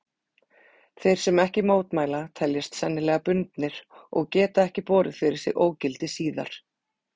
Þeir sem ekki mótmæla teljast sennilega bundnir og geta ekki borið fyrir sig ógildi síðar.